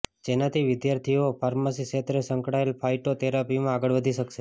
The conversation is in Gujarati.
જેનાથી વિદ્યાર્થીઓ ફાર્મસી ક્ષેત્રે સંકળાયેલ ફાયટો થેરાપીમાં આગળ વધી શકશે